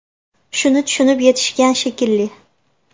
Shuni tushunib yetishgan shekilli.